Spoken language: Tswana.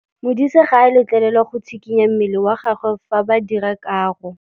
Modise ga a letlelelwa go tshikinya mmele wa gagwe fa ba dira karô.